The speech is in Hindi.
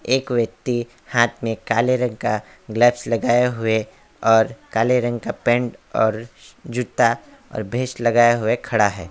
एक व्यक्ति हाथ में काले रंग का ग्लव्स लगाए हुए और काले रंग का पैंट और जूता और लगाए हुए खड़ा है।